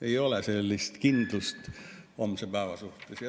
Ei ole kindlust homse päeva suhtes.